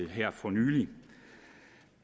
her for nylig